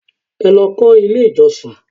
Ẹ lọ kọ́ ilé ìjọsìn!